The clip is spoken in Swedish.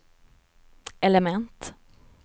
element